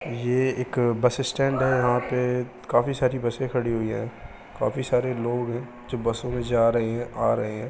ये एक bus stand है यहाँ पे काफी सारी बसे खड़ी हुई हैं काफी सारे लोग है जो बसों में जा रहे है आ रहे है।